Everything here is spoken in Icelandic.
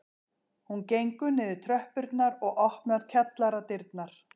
Hún gengur niður tröppurnar og opnar kjallaradyrnar